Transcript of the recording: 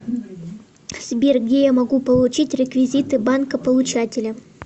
сбер где я могу получить реквизиты банка получателя